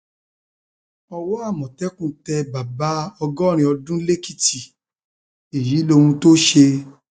owó àmọtẹkùn tẹ bàbá ọgọrin ọdún lèkìtì èyí lèkìtì èyí lóhun tó ṣe